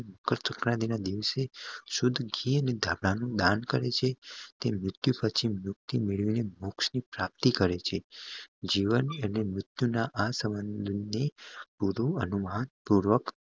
મકર સંક્રાંતિ ના દિવસે શુદ્ધ ઘી દાન કરે છે તે મૃત્યુ પછી મેળવેલી મોક્ષ ની પ્રાપ્તિ કરે છે જીવન અને મૃત્યુ ના આ સબંધ ની પૂરું અનુમાન